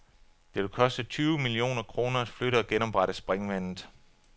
Det vil koste tyve millioner kroner at flytte og genoprette springvandet.